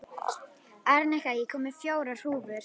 Arnika, ég kom með fjórar húfur!